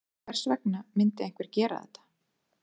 Hvers vegna myndi einhver gera þetta?